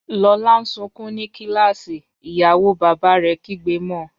Lola n sunkun ni kilasi, iyawo baba rẹ kigbe mo.